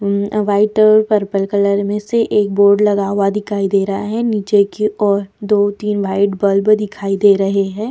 मम अ वाइट और पर्पल कलर में से एक बोर्ड लगा हुआ दिखाई दे रहा है नीचे की और दो-तीन व्हाइट बल्ब दिखाई दे रहे है।